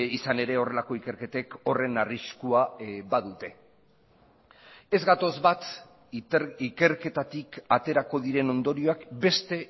izan ere horrelako ikerketek horren arriskua badute ez gatoz bat ikerketatik aterako diren ondorioak beste